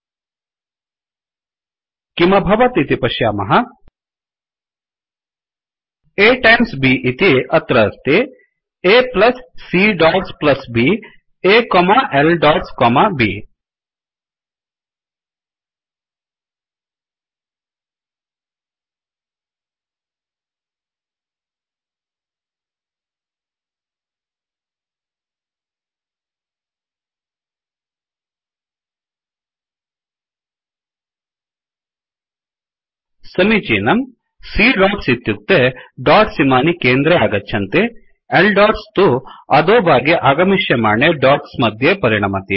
A times B इति अत्र अस्ति A plus c dots plus Bअ plus C॰॰ dots plus B A comma l dots comma Bअकोमा L dots comma B समीचीनम् C dots इत्युक्ते dots इमानि केंद्रे आगच्छन्ति L dotsडोट्स् तु अधोभागे आगमिश्यमाणे डोट्स् मध्ये परिणमति